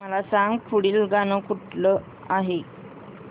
मला सांग पुढील गाणं कुठलं आहे